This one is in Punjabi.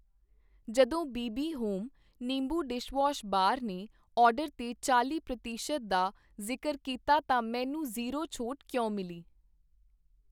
ਜਦੋਂ ਬੀ ਬੀ ਹੋਮ, ਨਿੰਬੂ ਡਿਸ਼ਵਾਸ਼ ਬਾਰ ਨੇ ਆਰਡਰ 'ਤੇ ਚਾਲ਼ੀ ਪ੍ਰਤੀਸ਼ਤ ਦਾ ਜ਼ਿਕਰ ਕੀਤਾ ਤਾਂ ਮੈਨੂੰ ਜ਼ੀਰੋ ਛੋਟ ਕਿਉਂ ਮਿਲੀ